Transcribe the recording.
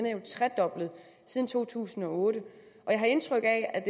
er jo tredoblet siden to tusind og otte jeg har indtryk af at